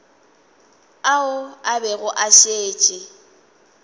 ao a bego a šetše